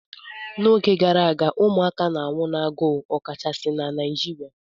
N'oge gara aga ụmụaka na-anwụ n'agụụ, ọkachasị na Naịjirịa